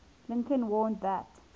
lincoln warned that